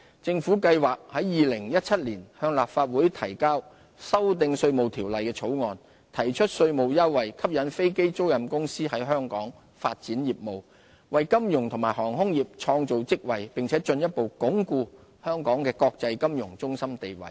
政府計劃於2017年向立法會提交修訂《稅務條例》的法案，推出稅務優惠，吸引飛機租賃公司在香港發展業務，為金融及航空業創造職位，並進一步鞏固香港的國際金融中心地位。